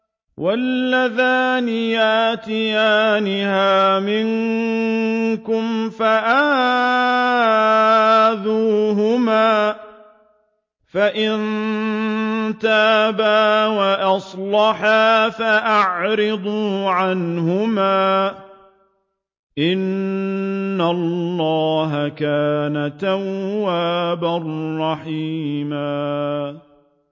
وَاللَّذَانِ يَأْتِيَانِهَا مِنكُمْ فَآذُوهُمَا ۖ فَإِن تَابَا وَأَصْلَحَا فَأَعْرِضُوا عَنْهُمَا ۗ إِنَّ اللَّهَ كَانَ تَوَّابًا رَّحِيمًا